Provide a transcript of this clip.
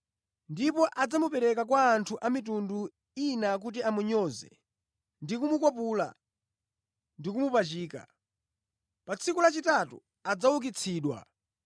ndipo adzamupereka kwa anthu a mitundu ina kuti amunyoze ndi kumukwapula ndi kumupachika. Pa tsiku lachitatu adzaukitsidwa!”